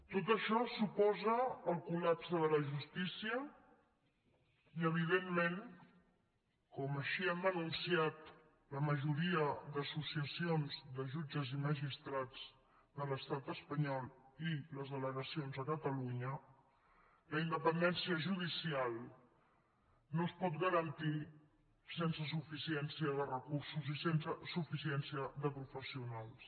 tot això suposa el col·lapse de la justícia i evidentment com així han denunciat la majoria d’associacions de jutges i magistrats de l’estat espanyol i les delegacions a catalunya la independència judicial no es pot garantir sense suficiència de recursos i sense suficiència de professionals